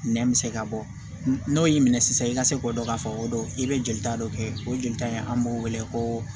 Nɛn bɛ se ka bɔ n'o y'i minɛ sisan i ka se k'o dɔn k'a fɔ o don i bɛ jolita dɔ kɛ o jolita in an b'o wele ko